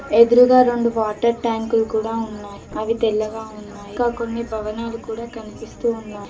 ఎదురుగా రెండు వాటర్ ట్యాంకుల్ కూడా ఉన్నాయ్ అవి తెల్లగా ఉన్నాయ్ ఇంకా కొన్ని భవనాలు కూడా కనిపిస్తూ ఉన్నాయ్.